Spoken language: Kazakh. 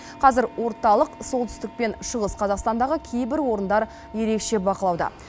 қазір орталық солтүстік пен шығыс қазақстандағы кейбір орындар ерекше бақылауда